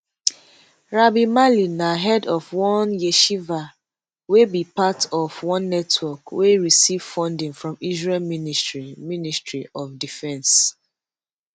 rabbi mali na head of one yeshiva wey be part of one network wey receive funding from israel ministry ministry of defence